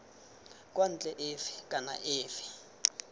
kwa ntle efe kana efe